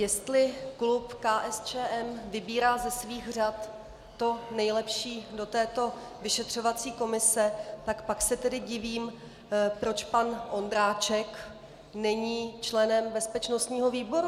Jestli klub KSČM vybírá ze svých řad to nejlepší do této vyšetřovací komise, tak pak se tedy divím, proč pan Ondráček není členem bezpečnostního výboru.